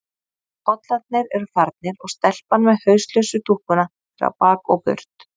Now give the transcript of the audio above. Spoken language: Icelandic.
Pollarnir eru farnir og stelpan með hauslausu dúkkuna er á bak og burt.